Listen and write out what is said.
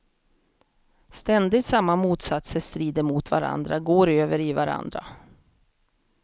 Ständigt samma motsatser strider mot varandra, går över i varandra.